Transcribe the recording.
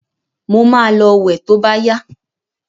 Mo ma lọ wẹ̀ to bá yá.